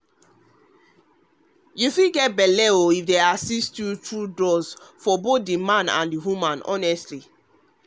to try assisted method to fit get belle dey include drugs for both the man and the woman honestly